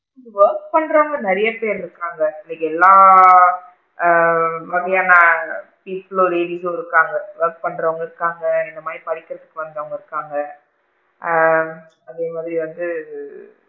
Work பண்றவுங்க நிறைய பேரு இருக்காங்க, இங்க எல்லா ஆ கீழ் floor இருக்காங்க work பண்றவுங்க இருக்காங்க, இந்த மாதிரி படிக்கிறதுக்கு வந்துவுங்க இருக்காங்க ஆ அதே மாதிரி வந்து,